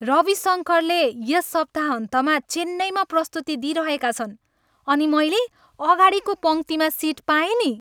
रवि शङ्करले यस सप्ताहन्तमा चेन्नईमा प्रस्तुति दिइरहेका छन् अनि मैले अगाडिको पङ्क्तिमा सिट पाएँ नि!